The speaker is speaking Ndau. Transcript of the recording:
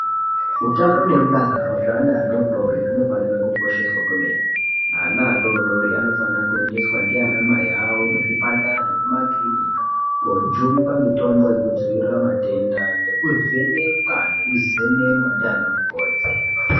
Utano nemudakaro zveeana adodori zvinofanire kukosheswa kwemene ana adodori anofanire kuendeswa ndianamai awo kuzvipatara nemakirinika kojungwa mitombo yekudziirira matenda nekuvhenekwa nekuzemenwa ndiana mukoti.